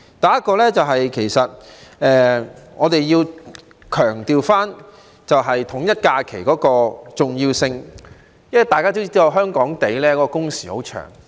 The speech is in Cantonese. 第一，我們要強調統一假期的重要性，因為大家也知道，香港的工時很長。